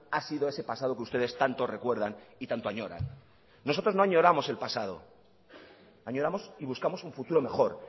ha sido ese pasado que ustedes tanto recuerdan y tanto añoran nosotros no añoramos el pasado añoramos y buscamos un futuro mejor